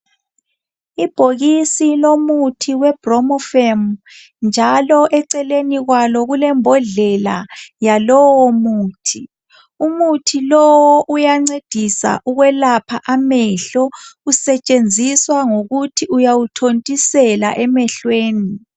ibhokisi lomuthi we bromofem njalo eceleni kwalo kulembodlela yalowomuthi umuthi lowu uyancedisa ukwelapha amehlo usetshenziswa ngokuthi uyawuthontisela emehlweni